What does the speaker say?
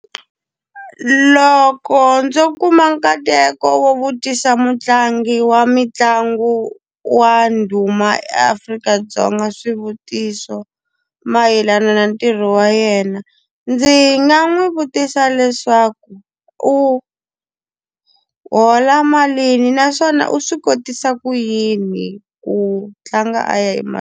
Loko ndzo kuma nkateko wo vutisa mutlangi wa mitlangu wa ndhuma eAfrika-Dzonga swivutiso mayelana na ntirho wa yena, ndzi nga n'wi vutisa leswaku u hola malini? Naswona u swi kotisa ku yini ku tlanga a ya emahlweni?